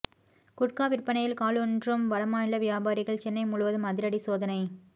குட்கா விற்பனையில் காலூன்றும் வடமாநில வியாபாரிகள் சென்னை முழுவதும் அதிரடி சோதனை